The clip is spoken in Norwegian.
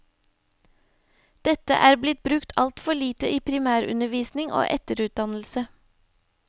Dette er blitt brukt altfor lite i primærundervisning og etterutdannelse.